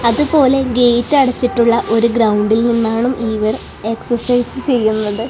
അതുപോലെ ഗേറ്റ് അടച്ചിട്ടുള്ള ഒരു ഗ്രൗണ്ടിൽ നിന്നാണ് ഇവർ എക്സസൈസ് ചെയ്യുന്നത്.